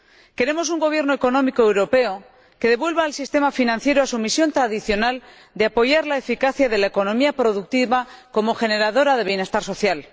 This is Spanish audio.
Queremos un gobierno económico europeo que devuelva al sistema financiero a su misión tradicional de apoyar la eficacia de la economía productiva como generadora de bienestar social.